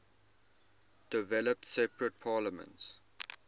developed separate parliaments